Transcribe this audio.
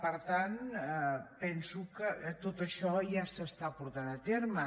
per tant penso que tot això ja s’està portant a terme